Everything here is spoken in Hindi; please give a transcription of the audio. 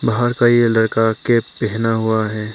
बाहर का ये लड़का कैप पहना हुआ है।